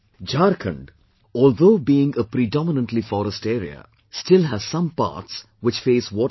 Jharkhand, although being a predominantly forest area, still has some parts which face water problem